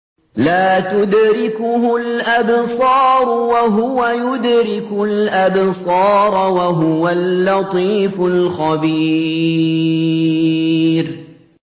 لَّا تُدْرِكُهُ الْأَبْصَارُ وَهُوَ يُدْرِكُ الْأَبْصَارَ ۖ وَهُوَ اللَّطِيفُ الْخَبِيرُ